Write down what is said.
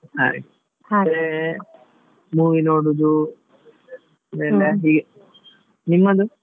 ಹಾಗೆ ಮತ್ತೆ movie ನೋಡುದು ನಿಮ್ಮದು?